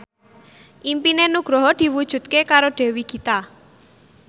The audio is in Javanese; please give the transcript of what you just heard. impine Nugroho diwujudke karo Dewi Gita